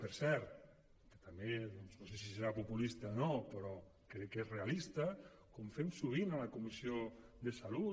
per cert que també no sé si serà populista o no però crec que és realista com fem sovint a la comissió de salut